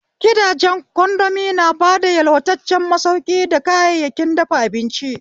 Gidajen kondomi na bada yalwataccen masauki da kayayyakin dafa abinci.